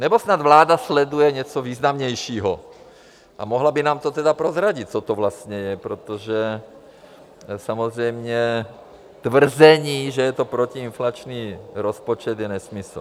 Nebo snad vláda sleduje něco významnějšího a mohla by nám to teda prozradit, co to vlastně je, protože samozřejmě tvrzení, že je to protiinflační rozpočet, je nesmysl.